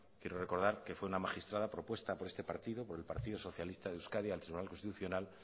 quiero recordar que fue una magistrada propuesta por este partido por el partido socialista de euskadi al tribunal constitucional